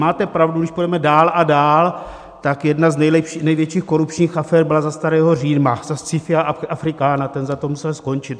Máte pravdu, když půjdeme dál a dál, tak jedna z největších korupčních afér byla za starého Říma za Scipia Africana, ten za to musel skončit.